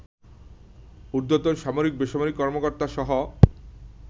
ঊর্ধ্বতন সামরিক- বেসামরিক কর্মকর্তাসহ